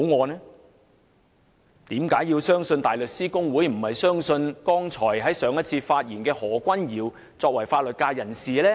為何大家要相信大律師公會，而不要相信剛才發言的法律界人士何君堯議員？